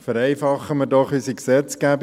– Vereinfachen wir doch unsere Gesetzgebung;